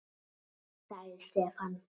sagði Stefán.